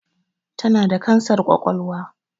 Tana da kansar ƙwaƙwalwa